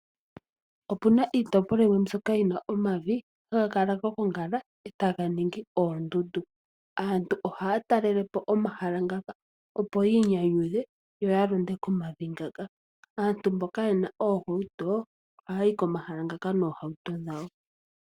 Opuna iitopolwa yimwe mbyoka hayi kala yina omavi haga kala ga gongala e taga ningi oondundu. Aantu ohaya talele po omahala ngaka opo yiinyanyudhe, yo ya londe komavi ngaka. Aantu mboka yena oohauto ohaya yi komahala ngoka noohauto dhawo.